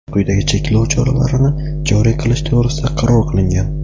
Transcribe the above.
quyidagi cheklov choralarini joriy qilish to‘g‘risida qaror qilingan:.